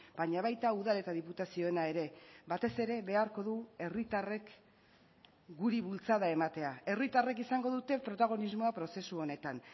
baina baita udal eta diputazioena ere batez ere beharko du herritarrek guri bultzada ematea herritarrek izango dute protagonismoa prozesu honetan